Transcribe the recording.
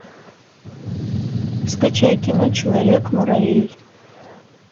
скачай кино человек муравей